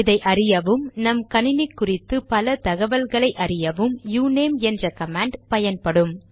இதை அறியவும் நம்கணினி குறித்து பல தகவல்களை அறியவும் யுநேம் என்ற கமாண்ட் பயன்படும்